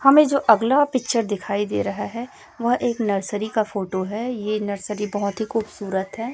हमें जो अगला पिक्चर दिखाई दे रहा है वह एक नर्सरी का फोटो है ये नर्सरी बहोत ही खूबसूरत है।